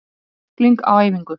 Tækling á æfingu.